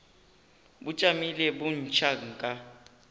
bo tšamile bo ntšha nka